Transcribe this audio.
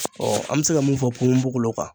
Ɔɔ an be se ka min fɔ ponponpogolon kan